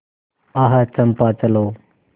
आह चंपा चलो